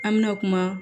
An mɛna kuma